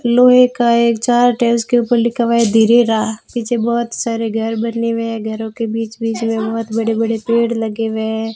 लोहे का एक चार्ट है उसके ऊपर लिखा हुआ है धीरेरा पीछे बहुत सारे घर बने हुए हैं घरों के बीच-बीच में बहुत बड़े-बड़े पेड़ लगे हुए हैं।